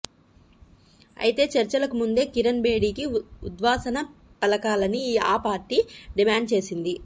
అయితే చర్చలకు ముందే కిరణ్ బేడీకి ఉద్వాసన పలకాలని ఆ పార్టీ డిమాండ్ చేసింది